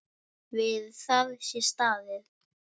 Við það sé staðið.